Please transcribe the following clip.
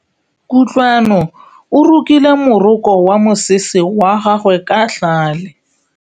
Kutlwanô o rokile morokô wa mosese wa gagwe ka tlhale.